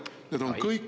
Aitäh!